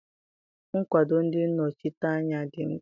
Nkwado ndị nnọchiteanya dị mkpa